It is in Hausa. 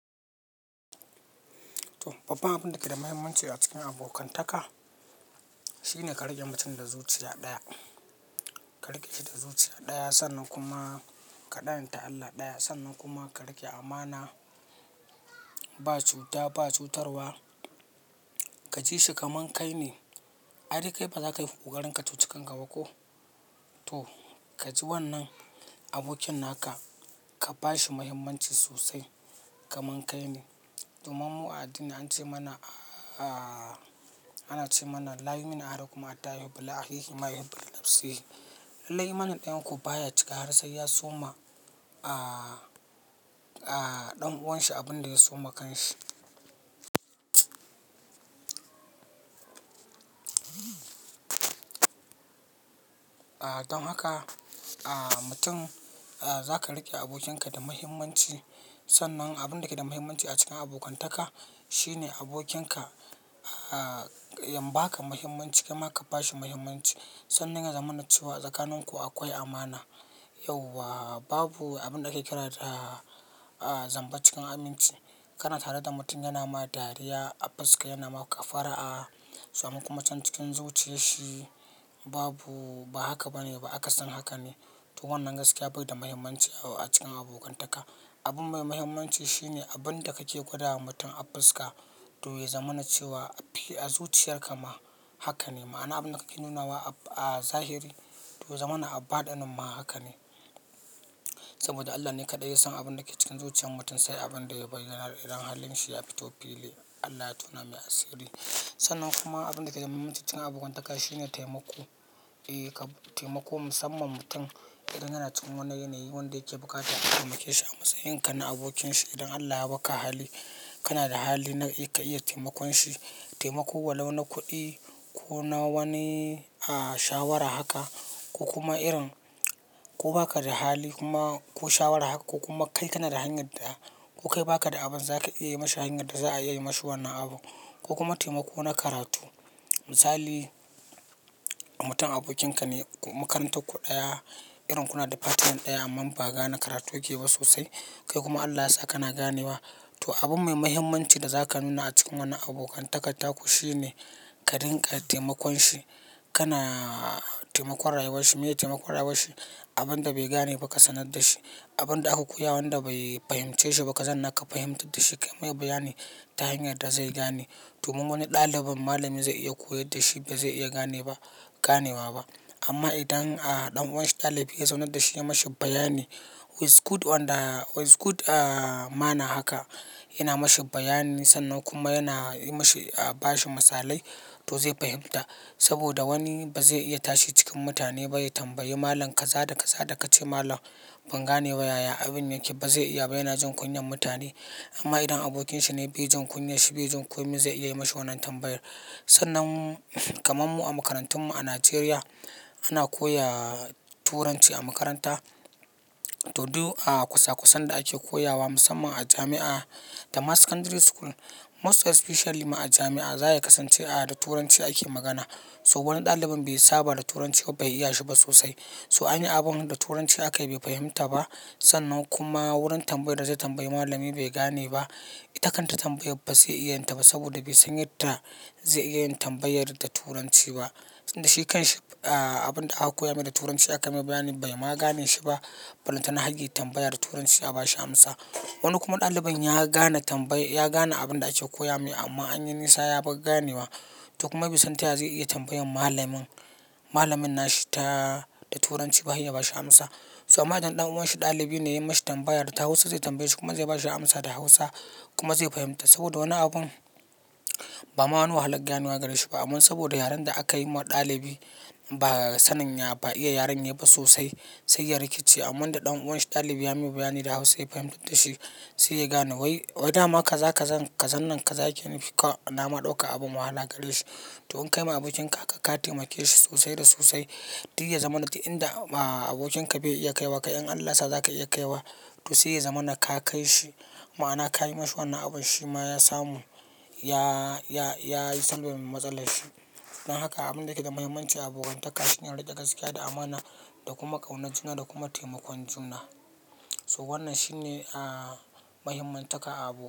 Toh babban abin da ke da mahimmanci a cikin abokan taka shine ka riƙe mutum da zuciya ɗaya. Ka riƙe shi da zuciya ɗaya sannan kuma ka ɗanta Allah ɗaya, sannan kuma ka riƙe amana. Ba cuta, ba cutarwa ka ji shi kaman kai ne. Ai dai kai baza ka yi ƙoƙarin ka cuci kanka ba ko? To, kaji wannan abokin naka ka ba shi mahimmanci sosai kaman kai ne. Domin mu a addini an ce mana, ah, ana ce mana "La yu'uminu ahadukum hatta yuhibbu Li akhihi ma yuhibbu Li nafsihi". Lallai imanin ɗayan ku baya cika har sai ya so ma, ah, ah, ɗan uwanshi abin da ya so ma kanshi. Ah, don haka, ah, mutum, ah, zaka riƙe abokinka da mahimmanci. Sannan abin da ke da mahimmanci a cikin abokan taka shine abokin ka, ya ba ka mahimmanci kai ma ka ba shi mahimmanci, sannan ya zamana cewa tsakanin ku akwai amana. Yauwa babu abin da ake kira da, ah, zamba cikin aminci. Kana tare da mutum yana ma dariya a fuska, yana maka fara'a, sannan kuma can cikin zuciyarshi babu, ba haka ba ne ba, akasin haka ne. To wannan gaskiya bai da mahimmanci a cikin abokan taka. Abun mai mahimmanci shine abin da kake gwada ma mutum a fuska, to yazama na cewa a fili, a zuciyarka ma haka ne. Ma'ana abin da ka ke nuna wa a zahiri to ya zamana a baɗilin ma haka ne. Saboda Allah ne kaɗai yasan abin da yake cikin zuciyar mutum, sai abin da ya bayyana idan halin shi ya fito fili. Allah to na mai asiri. Sannan kuma abin da ke da mahimmanci cikin abokan taka shine taimako. Eh, kam taimako musamman mutum idan yana cikin wani yanayi wanda yake bukatan ka taimake shi a matsayin ka na abokin shi idan Allah ya maka hali, kana da hali na ka iya taimakon shi. Taimako walau na kuɗi ko na wani, ah, shawara haka, ko kuma irin, ko ba ka da hali kuma ko shawara haka ko kuma kai kana da hanyar da, ko kai ba ka da abin za ka iya yi mashi hanyar da za a iya yi mashi wannan abu. Ko kuma taimako na karatu. Misali, mutum abokin ka ne ko makarantar ku ɗaya, irin kuna department ɗaya amman ba gane karatu yake yi ba sosai. Kai kuma Allah ya sa kana ganewa, to abun mai mahimmanci da zaka nuna a cikin wannan abokan takan taku shine ka dinƙa taimakon shi. Kana taimakon rayuwar shi. Meye taimakon rayuwar shi? Abun da bai gane ba ka sanar da shi. Abin da aka koya wanda bai fahimce shi ba, ka zauna ka fahimtar da shi kayi mai bayani ta hanyar da zai gane. Domin wani ɗalibin malamin zai iya koyar da shi ba zai iya gane ba, ganewa ba. Amma idan, ah, ɗan uwan shi ɗalibi ya zaunar da shi yayi mishi bayani "is good one ah, is good manner haka" yana mashi bayani. Sannan kuma yana yi mishi, ah, ba shi misalai to zai fahimta. Saboda wani ba zai iya tashi cikin mutane ba ya tambayi malam "kaza da kaza da ka ce malam ban gane ba yaya abun yake" ba zai iya ba. Yana jin kunyan mutane. Amma idan abokin shine bai jin kunya shi bai jin komai zai iya yi mashi wannan tambayar. Sannan kamar mu a makarantun mu a Najeriya ana koya turanci a makaranta to duk, ah, kwasa kwasan da ake koyawa musamman a jami'a da ma secondary school most especially ma a jami'a, za a kasance ah, da turanci ake magana. So wani ɗalibin bai saba da turanci ba, bai iya shi ba sosai. So anyi abun da turanci aka yi bai fahimta ba, sannan kuma wurin tambayar da zai tambayi malami bai gane ba. Ita kanta tambayar ba zai iya yin ta ba saboda bai san yadda zai iya yin tambayar da turanci ba. Tunda shi kanshi ah, abin da aka koya mai da turanci aka mai bayani bai ma gane shi ba. Ballanta na har ya yi tambaya da turanci a bashi amsa. Wani kuma ɗalibin ya gane tambayar, ya gane abin da ake koya mai amma anyi nisa ya bar ganewa. To kuma bai san ta yaya zai iya tambayar malamin, malamin nashi ta, da turanci ba har ya bashi amsa. Toh, amma idan ɗan uwan shi ɗalibi ne ya yi mishi tambayar da Hausa zai tambaye shi kuma zai ba shi amsa da Hausa kuma zai fahimta. Saboda wani abun, ba ma wani wahalan gane wa gare shi ba. Amma saboda yaren da aka yi ma ɗalibi ba sanin ya, ba iya yaren yayi ba sosai sai ya rikice. Amma da ɗan uwan shi ɗalibi ya yi mai bayani da Hausa ya fahimtar da shi sai ya gane. Wai, wai dama kaza kazan, kazan nan kaza yake nufi, ka na ma ɗauka abun wahala gare shi. To in kai ma abokin ka haka ka taimake shi sosai da sosai. Duk ya zamana duk inda, ah, abokin ka bai iya kaiwa, kai in Allah sa za ka iya kaiwa, to sai ya zamana ka kai shi. Ma'ana ka yi mishi wannan abun shi ma ya samu, ya, ya, ya yi solving matsalar shi. Don haka abun da yake da mahimmanci a abokantaka shine riƙe gaskiya, da amana, da kuma ƙaunar juna, da kuma taimakon juna. So wannan shine, ah, mahimman taka a abo.